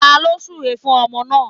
Taló súre fún ọmọ náà